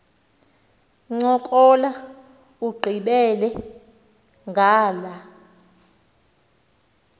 ncokola ugqibele ngala